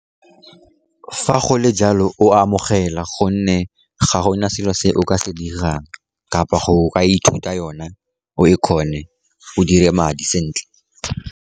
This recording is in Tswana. Fa gole jalo, o a amogela, gonne ga gona selo se o ka se dirang kapa go ka ithuta yone, o e kgone o dire madi sentle.